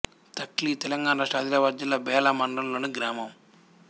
తక్లి తెలంగాణ రాష్ట్రం ఆదిలాబాద్ జిల్లా బేల మండలంలోని గ్రామం